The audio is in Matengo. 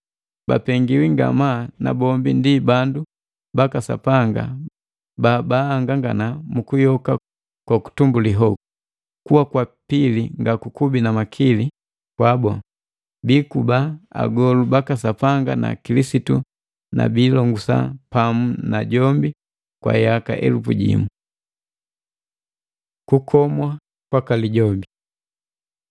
Bapengiwi ngamaa na bombi ndi bandu baka sapanga ba ahangangana mu kuyoka ko kutumbuli hoku. Kuwa kwa pili nga kukubi na makili kwabu, biikuba agolu baka Sapanga na Kilisitu na biilongusa pamu na jombi kwa yaka elupu jimu. Kukomwa kwaka Lijobi